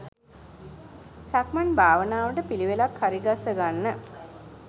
සක්මන් භාවනාවට පිළිවෙලක් හරිගස්ස ගන්න.